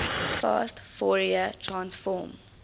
fast fourier transform